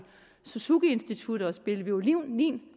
suzukiinstituttet og spille violin